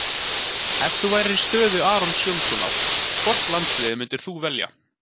Ef þú værir í stöðu Arons Jóhannssonar, hvort landsliðið myndir þú velja?